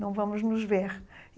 não vamos nos ver.